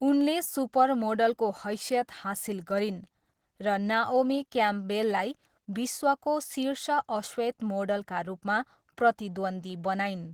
उनले सुपर मोडलको हैसियत हासिल गरिन् र नाओमी क्याम्पबेललाई विश्वको शीर्ष अश्वेत मोडलका रूपमा प्रतिद्वन्द्वी बनाइन्।